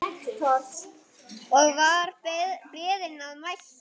Og var beðinn að mæta.